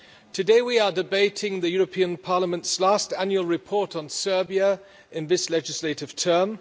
Today we are debating the European Parliament's last annual report on Serbia in this legislative term.